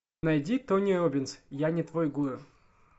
найди тони роббинс я не твой гуру